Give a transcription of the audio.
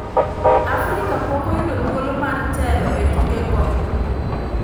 Afrika pok oyudo thuolo mar tele e tuke go